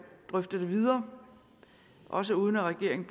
drøfte det videre også uden at regeringen